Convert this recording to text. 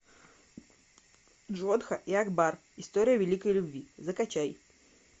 джодха и акбар история великой любви закачай